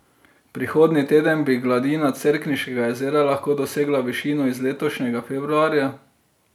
Prihodnji teden bi gladina Cerkniškega jezera lahko dosegla višino iz letošnjega februarja.